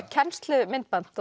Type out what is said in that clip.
kennslumyndband